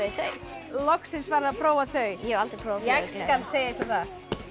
loksins farið að prófa þau ég hef aldrei prófa flugugleraugu ég skal segja ykkur það